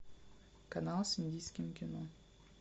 канал с индийским кино